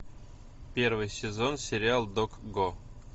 первый сезон сериал докго